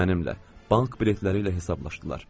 Mənimlə bank biletləri ilə hesablaşdılar.